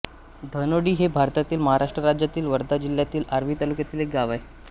धानोडी हे भारतातील महाराष्ट्र राज्यातील वर्धा जिल्ह्यातील आर्वी तालुक्यातील एक गाव आहे